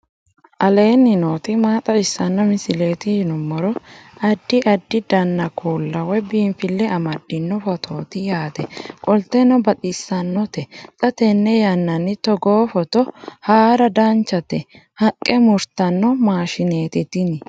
aleenni nooti maa xawisanno misileeti yinummoro addi addi dananna kuula woy biinfille amaddino footooti yaate qoltenno baxissannote xa tenne yannanni togoo footo haara danchate haqqe murtanno maashshineeti tini.